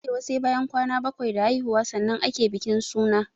A arewa sai bayan kwana bakwai da haihuwa sannan ake bikin suna